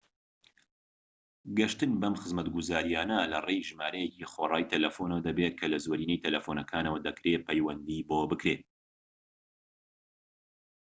گەشتن بەم خزمەتگوزاریانە لەڕێی ژمارەیەکی خۆڕایی تەلەفونەوە دەبێت کە لە زۆرینەی تەلەفونەکانەوە دەکرێت پەیوەندی بۆ بکرێت